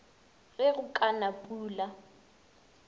ge go ka na pula